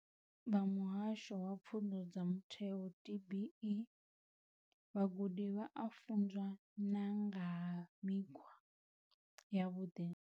U ya nga vha Muhasho wa Pfunzo dza Mutheo DBE, vhagudi vha a funzwa na nga ha mikhwa yavhuḓi.